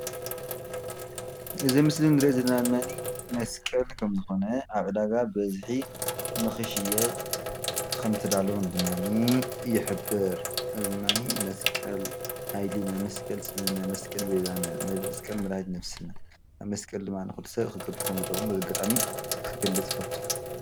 እዚ ምስሊ ንርኦ ዘለና መስቀል ከም ዝኮነ ኣብ ዕዳጋ በዝሕ ንክሽየጥ ክምተዳለወ ድማ ይሕብር መስቀል ሃይልነ መስቀል ፅንህነ መስቀል ቤዛነ መስቀል መዳሃኒት ነፍስን በዚ ኣጋጣሚ መስቀል ክገልፅ ይፈቱ።